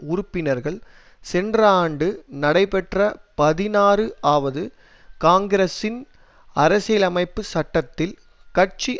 உறுப்பினர்கள் சென்ற ஆண்டு நடைபெற்ற பதினாறு ஆவது காங்கிரஸின் அரசியலமைப்பு சட்டத்தில் கட்சி